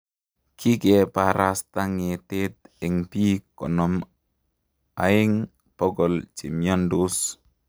kikeparastaa ngetet eng piik konom eng pokol chemiandos